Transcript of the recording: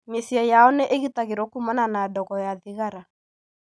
Mĩciĩ yao nĩ ĩgitagĩrũo kuumana na ndogo ya thigara.